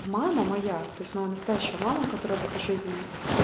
мама моя то есть моя настоящая мама которая в этой жизни